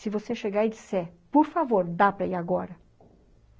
Se você chegar e disser, por favor, dá para ir agora?